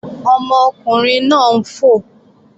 Ọmọkùnrin náà ń fò